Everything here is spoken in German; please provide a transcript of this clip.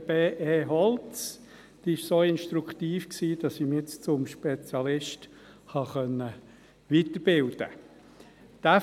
Diese war so instruktiv, dass ich mich jetzt zum Spezialisten weiterbilden konnte.